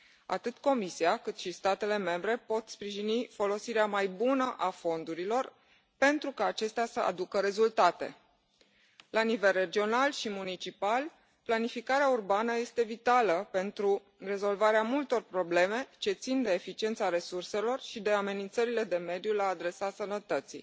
Atât Comisia, cât și statele membre pot sprijini folosirea mai bună a fondurilor, pentru ca acestea să aducă rezultate. La nivel regional și municipal, planificarea urbană este vitală pentru rezolvarea multor probleme ce țin de eficiența resurselor și de amenințările de mediu la adresa sănătății.